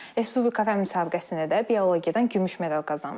Respublika fənn müsabiqəsində də biologiyadan gümüş medal qazanmışam.